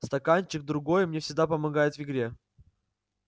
стаканчик другой мне всегда помогает в игре